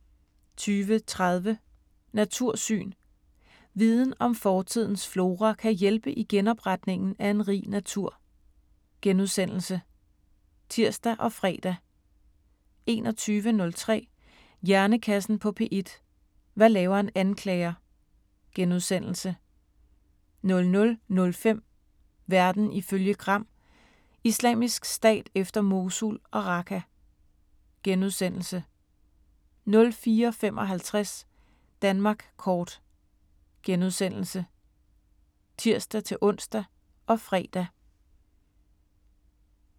20:30: Natursyn: Viden om fortidens flora kan hjælpe i genopretningen af en rig natur *(tir og fre) 21:03: Hjernekassen på P1: Hvad laver en anklager? * 00:05: Verden ifølge Gram: Islamisk Stat efter Mosul og Raqqa * 04:55: Danmark kort *(tir-ons og fre)